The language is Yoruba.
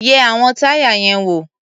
Yẹ àwọn táyà yẹn wò.